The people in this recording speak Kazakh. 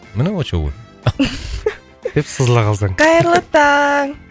міне очоу ғой деп сызыла қалсаң қайырлы таң